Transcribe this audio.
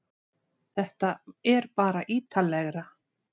Þetta er bara ítarlegra